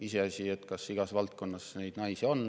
Iseasi, kas igas valdkonnas neid naisi on.